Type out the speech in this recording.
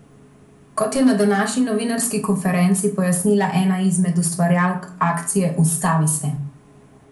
Kot je na današnji novinarski konferenci pojasnila ena izmed ustvarjalk akcije Ustavi se!